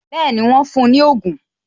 Bẹẹni, wọn fún ní ogun